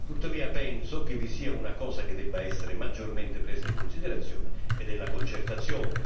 Tuttavia, penso che vi sia una cosa che debba essere maggiormente presa in considerazione ed è la concertazione.